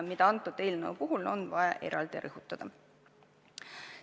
Seda tuleb selle eelnõu puhul eraldi rõhutada.